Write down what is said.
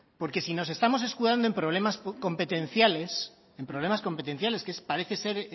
porque si nos estamos escudando en problemas competenciales en problemas competenciales que parece ser